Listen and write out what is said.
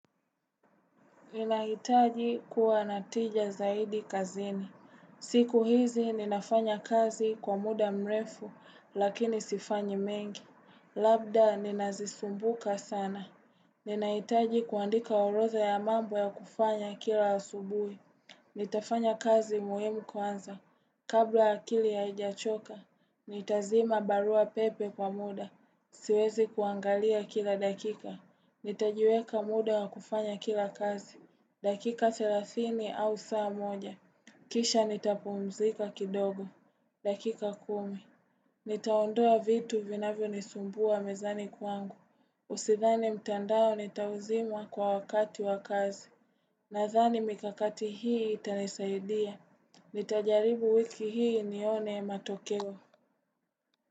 Ninahitaji kuwa na tija zaidi kazini. Siku hizi ninafanya kazi kwa muda mrefu lakini sifanyi mengi. Labda ninazisumbuka sana. Ninahitaji kuandika orodha ya mambo ya kufanya kila asubui. Nitafanya kazi muhimu kwanza, kabla akili haijachoka, nitazima barua pepe kwa muda, siwezi kuangalia kila dakika, nitajiweka muda wa kufanya kila kazi, dakika thelathini au saa moja, kisha nitapumzika kidogo, dakika kumi, nitaondoa vitu vinavyo nisumbua mezani kwangu, Usidhani mtandao nitauzima kwa wakati wa kazi Nadhani mikakati hii itanisaidia. Nitajaribu wiki hii nione matokeo.